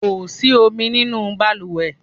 Kó sì omi nínú baluwe